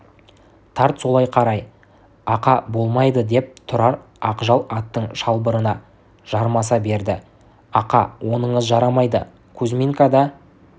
тарт солай қарай ақа болмайды деп тұрар ақжал аттың шылбырына жармаса берді ақа оныңыз жарамайды кузьминкада